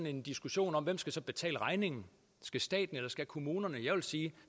en diskussion om hvem skal betale regningen skal staten eller skal kommunerne jeg vil sige at